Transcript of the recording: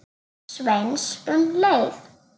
Sveins um leið.